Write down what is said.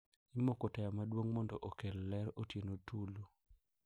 Imoko taya maduong` mondo okel ler otieno tulu.